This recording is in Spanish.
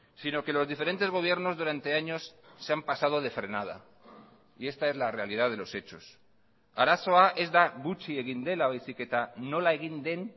si no que los diferentes gobiernos durante años se han pasado de frenada y esta es la realidad de los hechos arazoa ez da gutxi egin dela baizik eta nola egin den